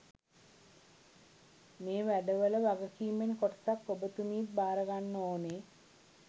මේවැඩවල වගකීමෙන් කොටසක් ඔබතුමීත් බාරගන්න ඕනේ